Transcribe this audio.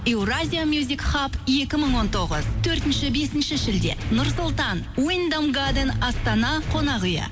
еуразия мюзикхаб екі мың он тоғыз төртінші бесінші шілде нұр сұлтан уйндам гаден астана қонақ үйі